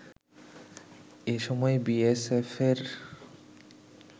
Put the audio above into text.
এ সময় বিএসএফয়ের